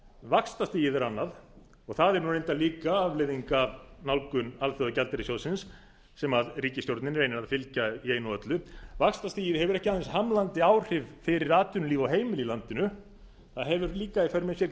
vaxtastigið er annað og það er reyndar líka afleiðing af nálgun alþjóðagjaldeyrissjóðsins sem ríkisstjórnin reynir að fylgja í einu og öllu vaxtastigið hefur ekki aðeins hamlandi áhrif fyrir atvinnulíf og heimili í landinu það hefur líka í för með sér